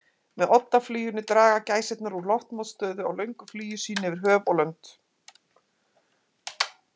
Með oddafluginu draga gæsirnar úr loftmótstöðu á löngu flugi sínu yfir höf og lönd.